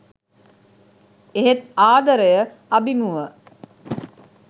එහෙත් ආදරය අභිමුව